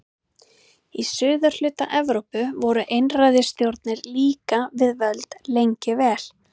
Í suðurhluta Evrópu voru einræðisstjórnir líka við völd lengi vel.